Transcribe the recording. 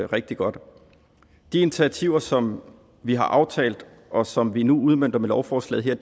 rigtig godt de initiativer som vi har aftalt og som vi nu udmønter med lovforslaget her